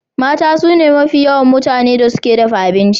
Mata sune mafi yawa mutanen da suke dafa abinci.